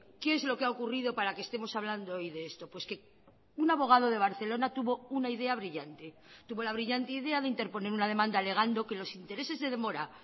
qué es lo que ha ocurrido para que estemos hablando hoy de esto pues que un abogado de barcelona tuvo una idea brillante tuvo la brillante idea de interponer una demanda alegando que los intereses de demora